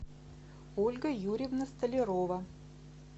ольга юрьевна столярова